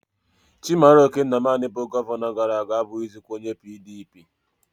Chimaroke nnamani bu Gọvanọ gara-aga abughizikwa onye PDP